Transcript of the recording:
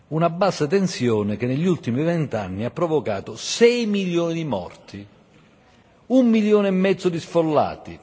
Una bassa tensione che negli ultimi vent'anni ha provocato sei milioni di morti e un milione e mezzo di sfollati.